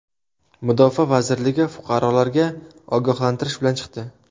Mudofaa vazirligi fuqarolarga ogohlantirish bilan chiqdi.